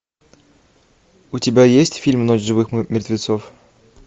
у тебя есть фильм ночь живых мертвецов